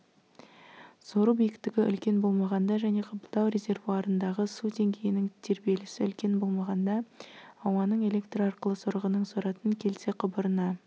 сору биіктігі үлкен болмағанда және қабылдау резервуарындағы су деңгейінің тербелісі үлкен болмағанда ауаның электр арқылы сорғының соратын келте құбырына